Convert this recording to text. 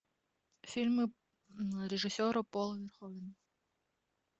фильмы режиссера пола верховена